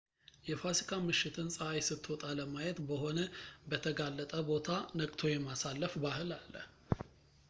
የፋሲካ ምሽትን ፀሃይ ስትወጣ ለማየት በሆነ በተጋለጠ ቦታ ነቅቶ የማሳለፍ ባህል አለ